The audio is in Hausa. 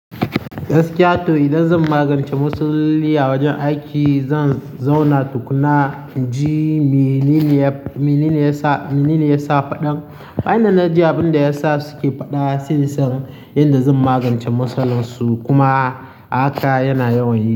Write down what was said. Yaushe haka to idan zan magance musulya wajen aiki, zan zauna tukuna ji menine ya sa faɗan. Wani na ji abin da yasa suke faɗa, sassan yadda zan magance matsalarsu kuma haka yana yawan yi.